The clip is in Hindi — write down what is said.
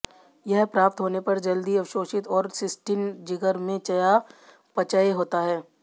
यह प्राप्त होने पर जल्दी अवशोषित और सिस्टीन जिगर में चयापचय होता है